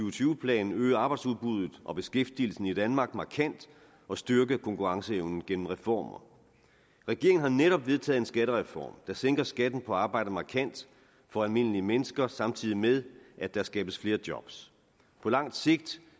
og tyve plan øge arbejdsudbuddet og beskæftigelsen i danmark markant og styrke konkurrenceevnen gennem reformer regeringen har netop vedtaget en skattereform der sænker skatten på arbejde markant for almindelige mennesker samtidig med at der skabes flere job på langt sigt